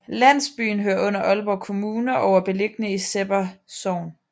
Landsbyen hører under Aalborg Kommune og er beliggende i Sebber Sogn